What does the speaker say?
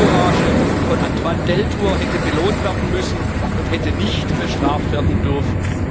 Die Zivilcourage von Antoine Deltour hätte belohnt werden müssen und hätte nicht bestraft werden dürfen.